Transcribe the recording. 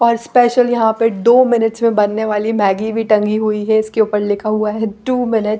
और स्पेशल यहाँ पे दो मिनिटस् मे बनने वाली मॅगी भी टंगी है इसके ऊपर लिखा हुआ है टू मिनिट्स --